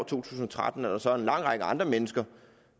tusind og tretten er der så en lang række andre mennesker